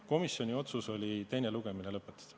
Komisjoni otsus oli teine lugemine lõpetada.